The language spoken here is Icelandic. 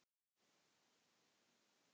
Já, það man ég